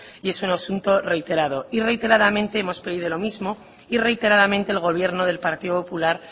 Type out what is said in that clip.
y es un asunto reiterado y reiteradamente hemos pedido lo mismo y reiteradamente el gobierno del partido popular